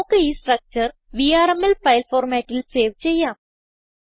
നമുക്ക് ഈ structure VRML file ഫോർമാറ്റിൽ സേവ് ചെയ്യാം